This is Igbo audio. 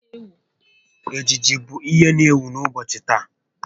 Ejiji bụ ihe n'ewu n'ụbọchị taa